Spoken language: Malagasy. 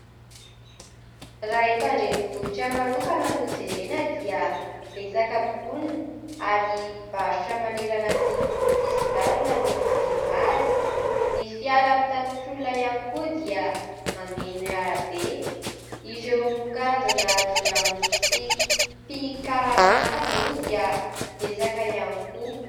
Raha eto Andrenivohitra manokana no jerena dia betsaka ponina ; ary mpivarotra manerana ny sisin-dalana no mameno azy, ny fiara pitatitr'olona ihany koa dia mameno arabe ireo karazana jiolamboto sy mpikaraman'ady moa dia betsaka ihany koa.